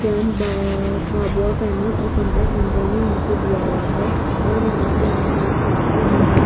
भभुआ कैमूर और contact number भी नीचे दिया हुआ है और यहां पे आसमान साफ है दो--